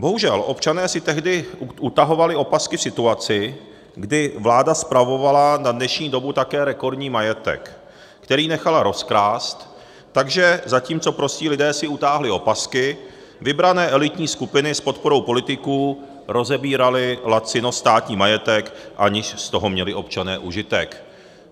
Bohužel občané si tehdy utahovali opasky v situaci, kdy vláda spravovala na dnešní dobu také rekordní majetek, který nechala rozkrást, takže zatímco prostí lidé si utáhli opasky, vybrané elitní skupiny s podporou politiků rozebíraly lacino státní majetek, aniž z toho měli občané užitek.